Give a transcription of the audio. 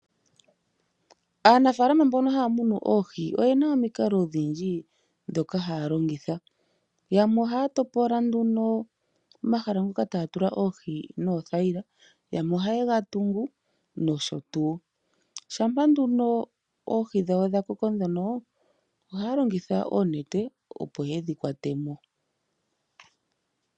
Aanafaalama mboka haya munu oohi oye na omikalo odhindji ndhoka haya longitha. Yamwe ohaya topola nduno omahala ngoka taya tula oohi noothayila. Yamwe ohaye ga tungu nosho tuu. Shampa nduno oohi dhawo dha koko ndhono ohaya longitha oonete opo ye dhi kwate mo.